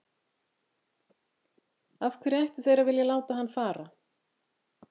Af hverju ættu þeir að vilja láta hann fara?